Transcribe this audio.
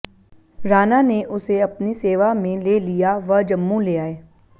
राणा ने उसे अपनी सेवा में ले लिया व जम्मू ले आए